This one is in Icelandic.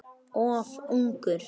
Of ungur.